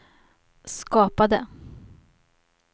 skapade